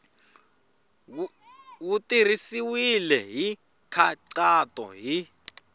wu tirhisiwile hi nkhaqato hi